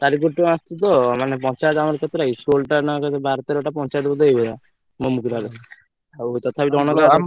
ଚାରି କୋଟି ଟଙ୍କା ଆସିଛି ତ ମାନେ ପଞ୍ଚାୟତ ଅମତ କେତେଟା କି ଷୋହଳ ଟା ନ କେତେ ବାର ତେର ଟା ପଞ୍ଚାୟତ ବୋଧେ ମୁଗୁରା ରେ ଆଉ ତଥାପି,